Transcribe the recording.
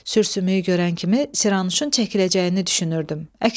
Sürsümüyü görən kimi Siranuşun çəkiləcəyini düşünürdüm.